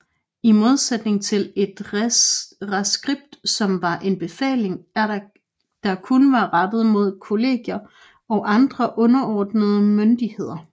I modsætning til et reskript som var en befaling der kun var rettet mod kollegier og andre underordnede myndigheder